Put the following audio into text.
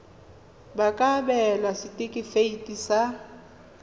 ba ka abelwa setefikeiti sa